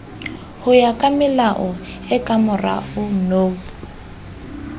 hoya kamelao e kamorao no